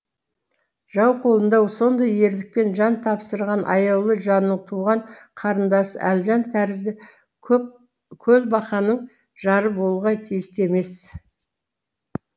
жау қолында сондай ерлікпен жан тапсырған аяулы жанның туған қарындасы әлжан тәрізді көлбақаның жары болуға тиісті емес